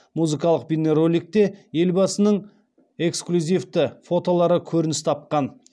музыкалық бейнероликте елбасының эклюзивті фотолары көрініс тапқан